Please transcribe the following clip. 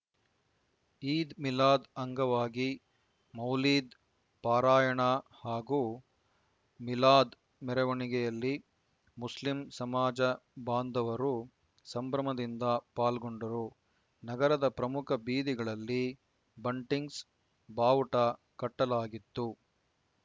ಈದ್‌ ಮಿಲಾದ್‌ ಅಂಗವಾಗಿ ಮೌಲೀದ್‌ ಪಾರಾಯಣ ಹಾಗೂ ಮಿಲಾದ್‌ ಮೆರವಣಿಗೆಯಲ್ಲಿ ಮುಸ್ಲಿಂ ಸಮಾಜ ಬಾಂಧವರು ಸಂಭ್ರಮದಿಂದ ಪಾಲ್ಗೊಂಡರು ನಗರದ ಪ್ರಮುಖ ಬೀದಿಗಳಲ್ಲಿ ಬಂಟಿಂಗ್ಸ್‌ ಬಾವುಟ ಕಟ್ಟಲಾಗಿತ್ತು